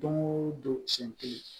Don o don siɲɛ kelen